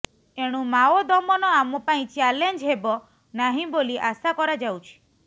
ଏଣୁ ମାଓ ଦମନ ଆମ ପାଇଁ ଚାଲେଞ୍ଜ ହେବ ନାହିଁ ବୋଲି ଆଶା କରାଯାଉଛି